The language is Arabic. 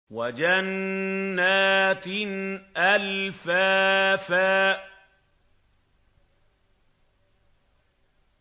وَجَنَّاتٍ أَلْفَافًا